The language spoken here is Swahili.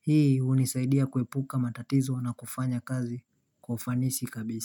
Hii hunisaidia kuepuka matatizo na kufanya kazi kwa ufanisi kabisa.